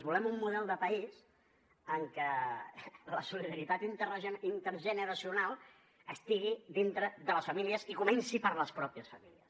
volem un model de país en què la solidaritat intergeneracional estigui dintre de les famílies i comenci per les mateixes famílies